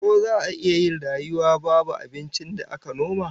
Ko za'a iya rayuwa babu abincin da aka noma?